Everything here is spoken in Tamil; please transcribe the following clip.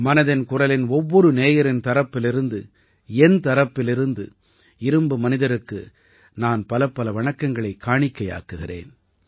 மனதின் குரலின் ஒவ்வொரு நேயரின் தரப்பிலிருந்து என் தரப்பிலிருந்து இரும்பு மனிதருக்கு நான் பலப்பல வணக்கங்களைக் காணிக்கையாக்குகிறேன்